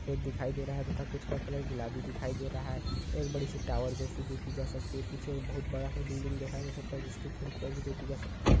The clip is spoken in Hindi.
सफेद दिखाई दे रहा हैं तथा कुछ का कलर गुलाबी दिखाई दे रहा हैं एक बड़ी सी टॉवर जैसी देखी जा सकती है पीछे एक बहुत बड़ा सा बिल्डिंग देखा जा सकता है जिसकी खिड़कियां भी देखी जा सकती हैं।